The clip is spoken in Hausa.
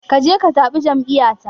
Ka je ka zaɓi jam'iyyata.